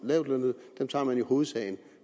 lavtlønnede i hovedsagen